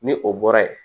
Ni o bɔra ye